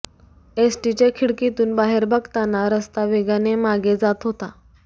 एसटीच्या खिडकीतून बाहेर बघताना रस्ता वेगाने मागे जात होता